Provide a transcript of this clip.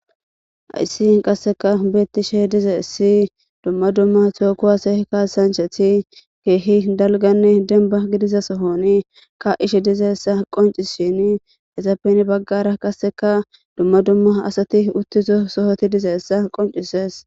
Ayssi qasseka beettishe dize essi dumma dumma cooku aseehkaa sanchethi keehi dalganne denba gidiza sohoni ka ishe dizeessa qonci shini ezappeni baggara qasseka dumma dumma asati uttizo sohoti dizeessa qoncisees.